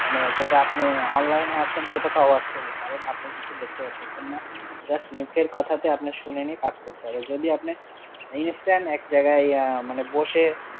মানে যেটা আপনি online এ আছেন সেটা তো অবাস্তবই, কারণ আপনি কিছু দেখতে পারতেছেন না, just মুখের কথাটা আপনার শুনে নিয়ে কাজ করতে হবে, যদি আপনি instant আহ এক জায়গায় আহ মানে বসে